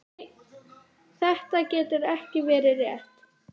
Þetta getur ekki verið rétt.